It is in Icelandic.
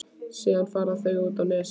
Síðast fara þau út á Nes.